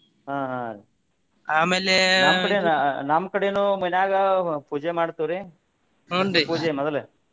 ಹ ಹ ನಮ್ಮ ಕಡೆನು ಮನ್ಯಾಗ ಪೂಜೆ ಮಾಡ್ತೇವ್ರಿ ಮೊದಲು.